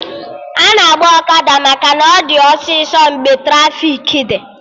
Ana agba ọkada maka na ọ dị ọsịsọ mgbe trafiki dị